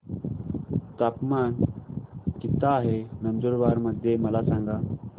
तापमान किता आहे नंदुरबार मध्ये मला सांगा